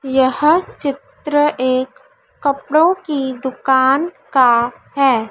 यह चित्र एक कपड़ों की दुकान का है।